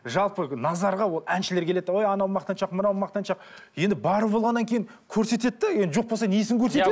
жалпы назарға әншілер келеді де ой анау мақтаншақ мынау мақтаншақ енді бар болғаннан кейін көрсетеді де енді жоқ болса несін көрсетеді